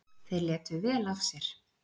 Þeir létu vel af sér.